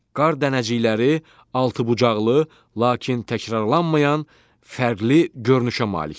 Qar dənəcikləri altıbucaqlı, lakin təkrarlanmayan fərqli görünüşə malikdir.